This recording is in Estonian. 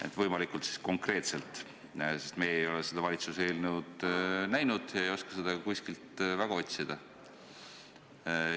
Palun võimalikult konkreetselt, sest me ei ole seda valitsuse eelnõu näinud ega oska seda ka kuskilt otsida.